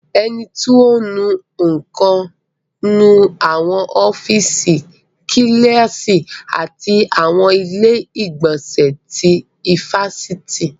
Ẹni tí ò ń nu nǹkan ń nu àwọn ọ́fíìsì, Kíláàsì àti àwọn ilé ìgbọ̀nsẹ̀ ti ifásitì